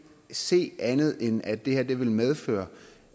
se andet end at det her vil medføre